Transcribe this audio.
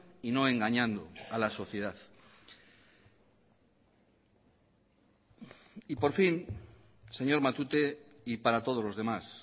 y no engañando a la sociedad y por fin señor matute y para todos los demás